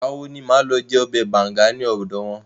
Ìgbà wo ni màá lọ jẹ ọbẹ̀ banga ní ọ̀dọ̀ wọn?